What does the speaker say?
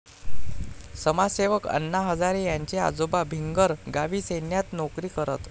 समाजसेवक आण्णा हजारे यांचे आजोबा भिंगर गावीसैन्यात नोकरी करत.